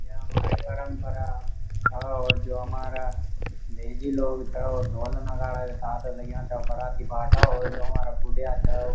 ये हमारी परमपरा छा और जो हमारा भेजी लोग छा वो ढोल नगाड़ा के साथ लग्याँ छा बाराती बाटा और जो हमारा बुढ़या छा --